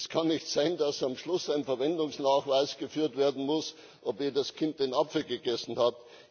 Es kann nicht sein, dass am Schluss ein Verwendungsnachweis geführt werden muss, ob jedes Kind den Apfel gegessen hat.